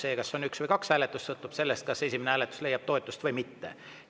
See, kas on üks või kaks hääletust, sõltub sellest, kas esimene hääletus leiab toetust või mitte.